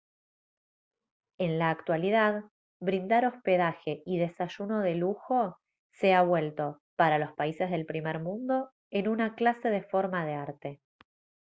en la actualidad brindar hospedaje y desayuno de lujo se ha vuelto para los países del primer mundo en una clase de forma de arte